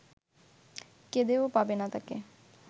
কেঁদেও পাবে না তাকে